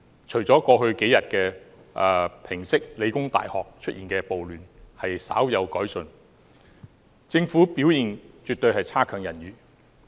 除了過去數天平息理工大學出現的暴亂時稍有改進外，政府的表現絕對強差人意。